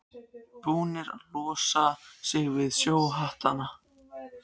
Búnir að losa sig við sjóhattana.